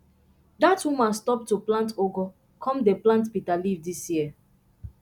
dat woman stop to plant ugu come dey plant bitter leaf this year